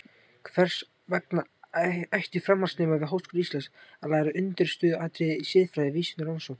Hvers vegna ættu framhaldsnemar við Háskóla Íslands að læra undirstöðuatriði í siðfræði vísinda og rannsókna?